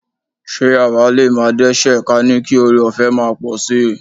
Ṣé àwa lè máa dẹ́ṣẹ̀ ka ní kí ọrẹọ̀fẹ́ máa pọ̀ sí?